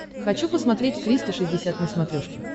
хочу посмотреть триста шестьдесят на смотрешке